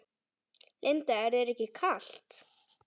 Linda: Er þér ekki kalt?